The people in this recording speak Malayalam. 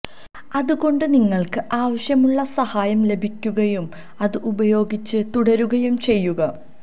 അതുകൊണ്ട് നിങ്ങൾക്ക് ആവശ്യമുള്ള സഹായം ലഭിക്കുകയും അത് ഉപയോഗിച്ച് തുടരുകയും ചെയ്യുക